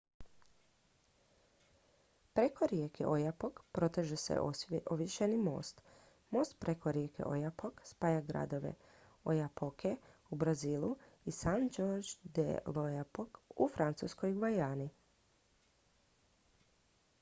preko rijeke oyapock proteže se ovješeni most most preko rijeke oyapock spaja gradove oiapoque u brazilu i saint-georges de l'oyapock u francuskoj gvajani